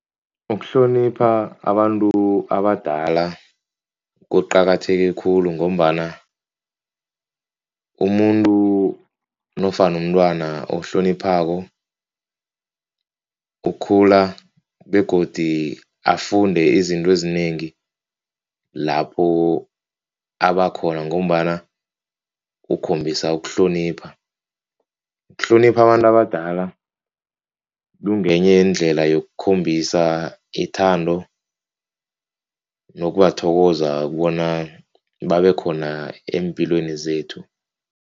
Ukuhlonipha abantu abadala kuqakatheke khulu ngombana umuntu nofana umntwana ohloniphako ukhula begodi afunde izinto ezinengi lapho abakhona ngombana ukhombisa ukuhlonipha. Ukuhlonipha abantu abadala kungenye yeendlela yokukhombisa ithando nokubathokoza bona babe khona eempilweni zethu.